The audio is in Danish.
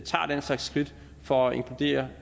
slags skridt for at inkludere